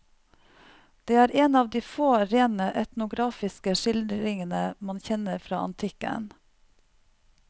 Det er en av de få rene etnografiske skildringene man kjenner fra antikken.